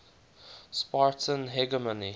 spartan hegemony